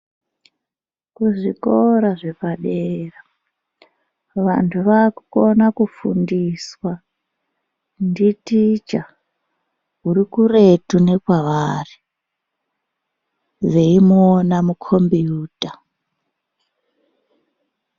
Kuzvikora zvepadera vanthu vaakukona kufundiswa nditicha uri kuretu nekwavari veimuona mukombiyuta.